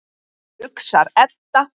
hugsar Edda.